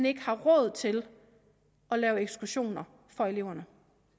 ikke har råd til at lave ekskursioner for eleverne